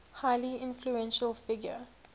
highly influential figure